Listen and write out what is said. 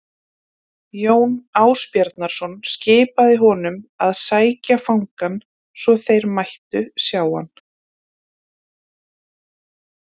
Jón Ásbjarnarson skipaði honum að sækja fangann svo þeir mættu sjá hann.